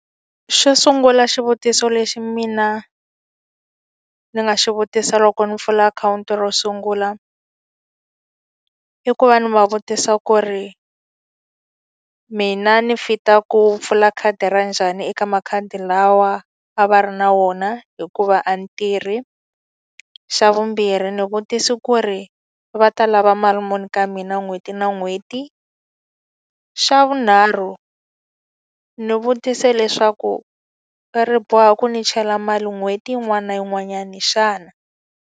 Xo sungula xivutiso lexi mina ni nga xi vutisaka loko ni pfula akhawunti ro sungula. I ku va ni va vutisa ku ri mina ni fit-a ku pfula khadi ra njhani eka makhadi lawa a va ri na wona hikuva a ni tirh? Xa vumbirhi ndzi vutise ku ri va ta lava ma mali muni ka mina n'hweti na n'hweti? Xa vunharhu ni vutise leswaku ri boha ku ni chela mali n'hweti yin'wana na yin'wanyana xana?